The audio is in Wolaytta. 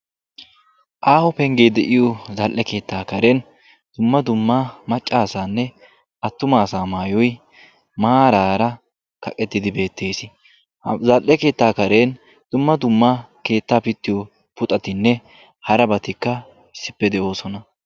Aaho pengge de'iyo zla'ee karen atumma asanne maca asaa maayoy kaqqettiddi beetees. QAssikka puxxattikka beetosonna.